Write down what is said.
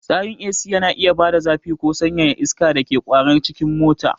Tsarin AC yana iya bada zafi ko sanyaya iska da ke kwarara cikin mota.